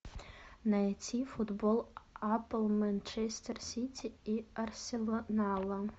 найти футбол апл манчестер сити и арсенала